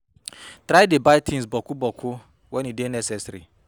Try dey buy tins boku boku wen e dey necessary